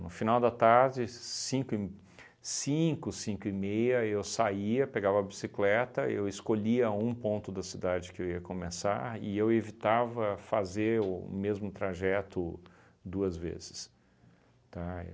No final da tarde, cinco e m, cinco e meia, eu saía, pegava a bicicleta, eu escolhia um ponto da cidade que eu ia começar e eu evitava fazer o mesmo trajeto duas vezes, tá?